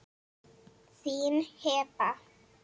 Þín, Heba.